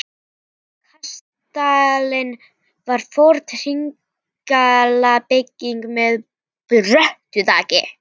Kastalinn var forn hringlaga bygging með bröttu þaki.